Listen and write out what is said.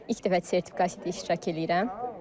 İlk dəfə sertifikasiyada iştirak edirəm.